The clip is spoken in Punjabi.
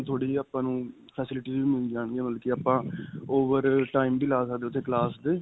ਥੋੜੀ ਜੀ ਆਪਾਂ ਨੂੰ facilities ਵੀ ਮਿਲ ਜਾਣਗੀਆਂ ਬਲਕਿ ਆਪਾਂ over time ਵੀ ਲਾ ਸਕਦੇ ਹਾਂ ਉੱਥੇ class ਤੇ.